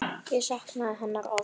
Og saknaði hennar oft.